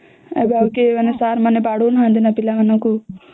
ଏବେ ଆଉ ସାର କେଏ ବାଡ଼ଉ ନାହାନ୍ତି ନ ପିଲା ମାନଙ୍କୁ